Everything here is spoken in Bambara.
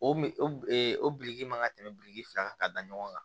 O mi o o biriki man ka tɛmɛ biriki fila kan ka da ɲɔgɔn kan